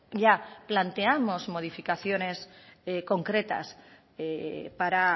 ya planteamos modificaciones concretas para